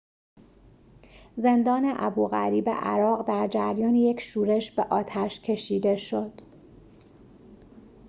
زندان ابوغریب عراق در جریان یک شورش به آتش کشیده شد